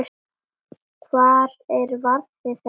Hvar er varða þessi?